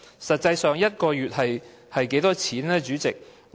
實際上 ，1 個月的金額是多少呢，主席？